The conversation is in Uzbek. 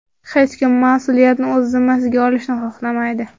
Hech kim mas’uliyatni o‘z zimmasiga olishni xohlamaydi.